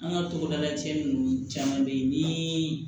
An ka togodala cɛnin ninnu caman bɛ ye ni